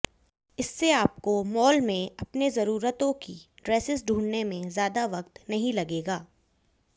इससे आपको मॉल में अपनी जरूरतों की ड्रेसेज ढूंढने में ज्यादा वक्त नहीं लगेगा